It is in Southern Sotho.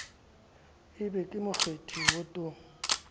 e be ke mokgethi wotong